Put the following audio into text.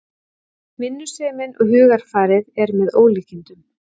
Vinnusemin og hugarfarið er með ólíkindum